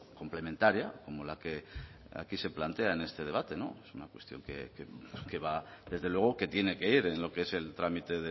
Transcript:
complementaria como la que aquí se plantea en este debate no es una cuestión que va desde luego que tiene que ir en lo que es el trámite